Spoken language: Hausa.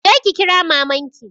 Je ki kira maman ki.